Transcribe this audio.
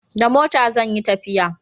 Da mota zan yi tafiya